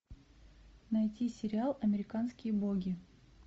найти сериал американские боги